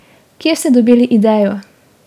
Kje ste dobili idejo ?